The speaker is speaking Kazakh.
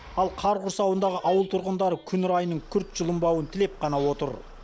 ал қар құрсауындағы ауыл тұрғындары күн райының күрт жылынбауын тілеп қана отыр